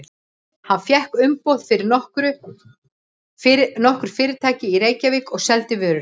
Hann fékk umboð fyrir nokkur fyrirtæki í Reykjavík og seldi vörur þeirra.